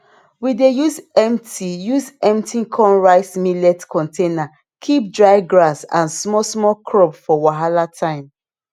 we dey use empty use empty cornrice millets container keep dry grass and small small crop for wahala time